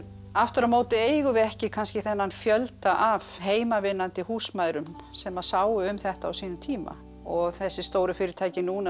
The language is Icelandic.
aftur á móti eigum við ekki kannski þennan fjölda af heimavinnandi húsmæðrum sem sáu um þetta á sínum tíma og þessi stóru fyrirtæki núna